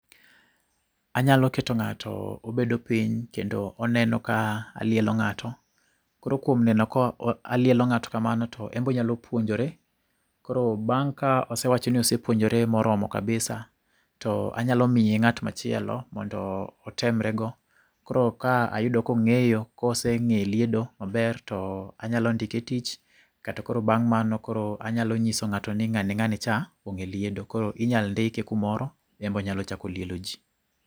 Anyalo keto ng'ato obedo piny kendo oneno ka alielo ng'ato. Koro kuom neno ka lielo ng'ato kamano en bonyalo puonjore. Koro bang' ka osewacho ni osepuonjore moromo kabisa anyalo miye ng'at machielo mondo otemre go. Koro ka ayudo kong'eyo koseng'e liedo maber to anyalo ndike etich kato bang' mano anya nyiso ng'ato ni ng'ane ng'ane cha onge liedo. Koro inyal ndike kumoro en bo nyalo chako lielo jii.